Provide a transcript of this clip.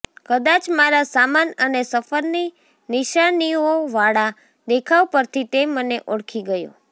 કદાચ મારા સામાન અને સફરની નિશાનીઓવાળા દેખાવ પરથી તે મને ઓળખી ગયો